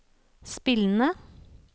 spillende